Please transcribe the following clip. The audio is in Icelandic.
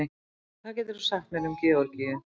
hvað getur þú sagt mér um georgíu